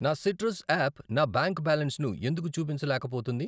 నా citrus app నా bank బ్యాలెన్సును ఎందుకు చూపించలేకపోతుంది?